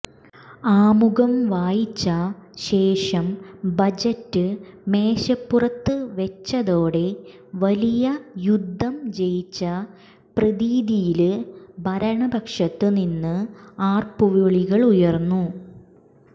ആമുഖം വായിച്ച ശേഷം ബജറ്റ് മേശപ്പുത്ത് വെച്ചതോടെ വലിയ യുദ്ധം ജയിച്ച പ്രതീതിയില് ഭരണപക്ഷത്ത് നിന്ന് ആര്പ്പുവിളികളുയര്ന്നു